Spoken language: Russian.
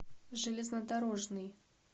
железнодорожный